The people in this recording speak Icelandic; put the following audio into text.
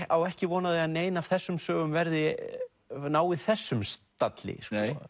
á ekki von á því að nein af þessum sögum nái þessum stalli